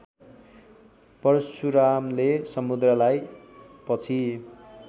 परशुरामले समुद्रलाई पछि